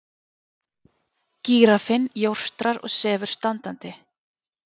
Gíraffinn jórtrar og sefur standandi.